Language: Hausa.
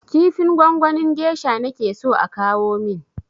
Kifin gwangwanin gesha nake so a kawo min!